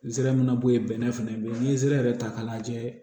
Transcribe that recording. N zera min na bɔ yen bɛnɛ fana be yen n'i ye sira yɛrɛ ta k'a lajɛ